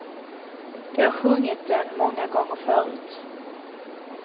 De har sjungit den många gånger förut.